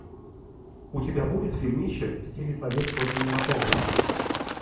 у тебя будет фильмище в стиле советского кинематографа